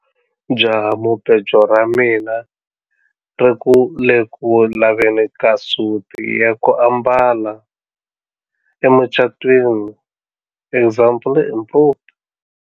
Jahamubejo ra mina ri ku le ku laveni ka suti ya ku ambala emucatwini example improved.